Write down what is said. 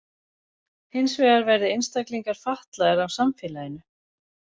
Hins vegar verði einstaklingar fatlaðir af samfélaginu.